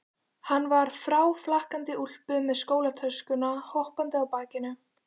Hann var í fráflakandi úlpu með skólatöskuna hoppandi á bakinu.